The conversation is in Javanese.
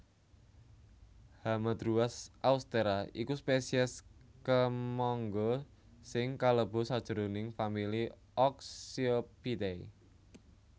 Hamadruas austera iku spesies kemangga sing kalebu sajroning famili Oxyopidae